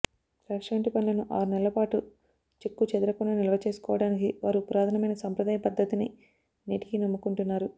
ద్రాక్ష వంటి పండ్లను ఆరునెలల పాటు చెక్కుచెదరకుండా నిల్వ చేసుకోవడానికి వారు పురాతనమైన సంప్రదాయ పద్ధతినే నేటికీ నమ్ముకుంటున్నారు